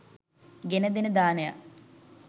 ගෙනදෙන දානයක්.